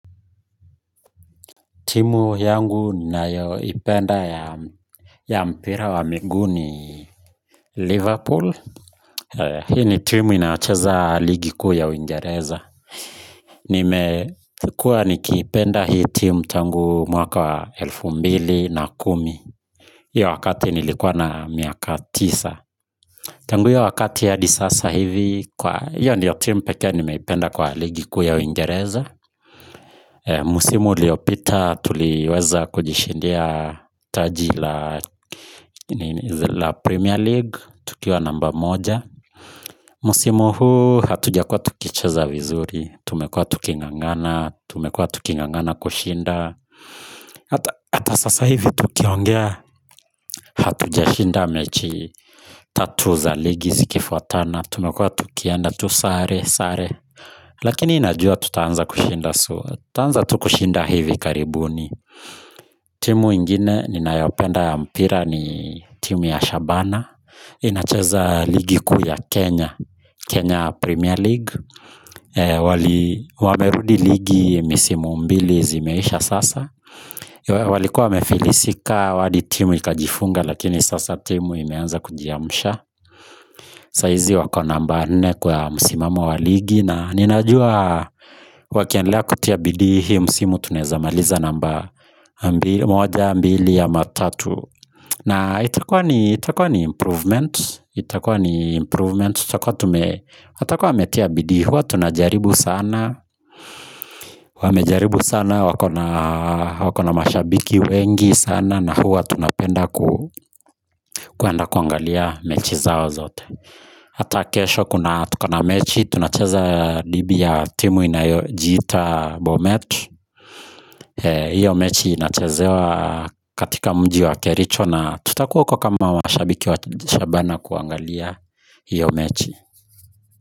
Timu yangu ninayoipenda ya mpira wa mingu ni Liverpool. Hii ni timu inayocheza ligi kuu ya Uingereza. Nimekuwa nikiipenda hii timu tangu mwaka wa elfu mbili na kumi. Hii wakati nilikuwa na miaka tisa. Tangu hiyo wakati ya hadi sasa hivi kwa hiyo ndiyo timu pekee nimeipenda kwa ligi kuu ya Uingereza. Msimu uliopita tuliweza kujishindia taji la Premier League tukiwa namba moja msimu huu hatujakuwa tukicheza vizuri. Tumekuwa tukingangana tumekuwa tukingangana kushinda hata sasa hivi tukiongea hatujashinda mechi tatu za ligi zikifuatana tumekua tukienda tu sare sare lakini najua tutaanza kushinda, tutaanza kushinda hivi karibuni timu ingine ninayopenda ya mpira ni timu ya Shabana inacheza ligi kuu ya Kenya, Kenya Premier League wamerudi ligi misimu mbili zimeisha sasa walikuwa wamefilisika hadi timu ikajifunga lakini sasa timu imeanza kujiamsha saa hizi wako namba nne kwa msimamo wa ligi na ninajua wakiendelea kutia bidii hii msimu tuneaza maliza namba moja mbili ama tatu. Na itakuwa ni improvement. Itakuwa ni improvement. Tutakuwa tume, watakuwa wametia bidii huwa tunajaribu sana. Wamejaribu sana, wakona mashabiki wengi sana na huwa tunapenda kuenda kuangalia mechi zao zote. Hata kesho kuna tukona mechi, tunacheza dhidi ya timu inayojiita bomet hiyo mechi inachezewa katika mji wa kericho na tutakuwa huko kama washabiki wa shabana kuangalia hiyo mechi.